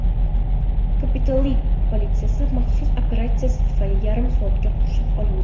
Kapitoliy politsiya maxsus operatsiyasi tufayli yarim soatga qurshab olindi.